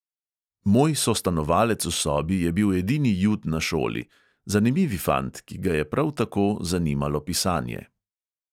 Moj sostanovalec v sobi je bil edini jud na šoli, zanimivi fant, ki ga je prav tako zanimalo pisanje.